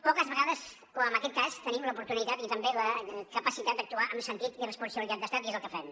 poques vegades com en aquest cas tenim l’oportunitat i també la capacitat d’actuar amb sentit i responsabilitat d’estat i és el que fem